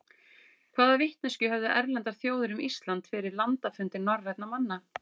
hvaða vitneskju höfðu erlendar þjóðir um ísland fyrir landafundi norrænna manna